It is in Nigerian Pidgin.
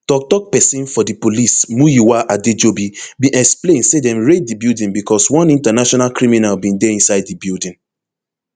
tok tok pesin for di police muyiwa adejobi bin explain say dem raid di building becos one international criminal bin dey inside di building